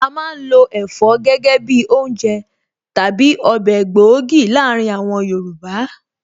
A má ń lo Ẹ̀fọ́ gẹ́gẹ́ bi oúnjẹ/ Ọbẹ̀ gbòógì láàárín àwọn Yorùbá